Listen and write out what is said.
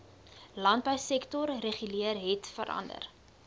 landbousektor reguleer hetverander